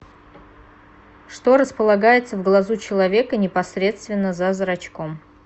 что располагается в глазу человека непосредственно за зрачком